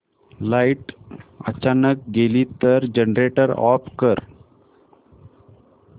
light अचानक गेली तर जनरेटर ऑफ कर